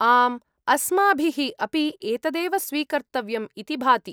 आम्, अस्माभिः अपि एतदेव स्वीकर्तव्यम् इति भाति।